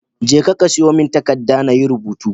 Jeka ka siyomin takadda nayi rubutu